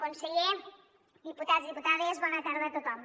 conseller diputats i diputades bona tarda a tothom